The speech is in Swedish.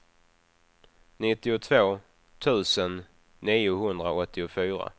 nittiotvå tusen niohundraåttiofyra